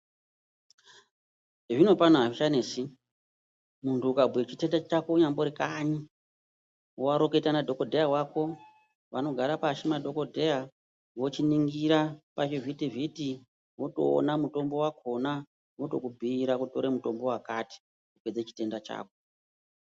Zvino pano azvichanesi muntu ukabhuye chitenda chako unyambori kanyi woreketa nadhokodheya wako vanogara pashi madhokodheya vochiningira pachivhiti vhiti votoona mutombo wakhona votokubhiira wotore mutombo wakati kupedza chitenda chako.